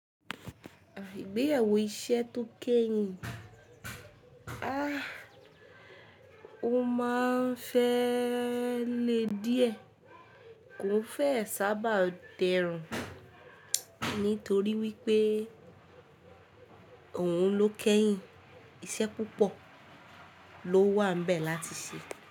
Igbéyẹ̀wò iṣẹ́ tó kẹ́yìn, o máa ń fẹ́ lè díẹ̀, kò fẹ́ sábà dẹrùn, nítorí wípé òun ló kẹ́yìn, iṣẹ́ púpọ̀ ló wà n bẹ̀ láti ṣe.